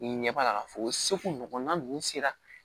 Ɲɛ b'a la k'a fɔ o seko ɲɔgɔnna ninnu sera